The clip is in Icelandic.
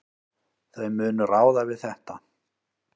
Þau munu ráða við þetta.